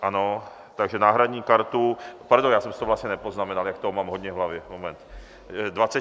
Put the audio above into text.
Ano, takže náhradní kartu, pardon, já jsem si to vlastně nepoznamenal, jak toho mám hodně v hlavě, moment.